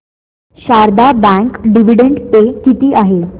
Sharda bank dividend pay किती आहे